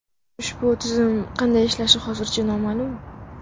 Ushbu tizim qanday ishlashi hozircha noma’lum.